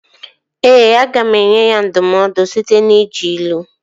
Ee, aga m enye ya ndụmọdụ site n'iji ilu